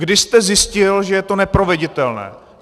Kdy jste zjistil, že to je neproveditelné?